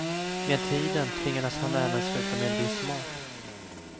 Med tiden tvingades han även sluta med viss mat.